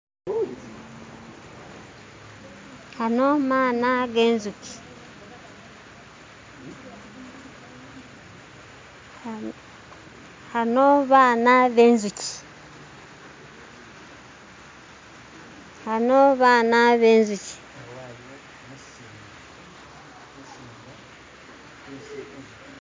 Ano maana genzuki, ano baana be nzuki, ano baana be nzuki.